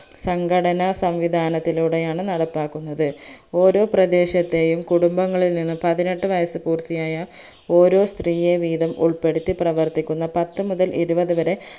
സംഘടന സംവിദാനത്തിലൂടെയാണ് നടപ്പാക്കുന്നത് ഓരോ പ്രദേശത്തെയും കുടുംബങ്ങളിൽ നിന്ന് പതിനെട്ട് വയസ് പൂർത്തിയായ ഓരോ സ്ത്രീയെ വീതം ഉൾപ്പെടുത്തി പ്രവർത്ഥിക്കുന്ന പത്തു മുതൽ ഇരുപത് വരെ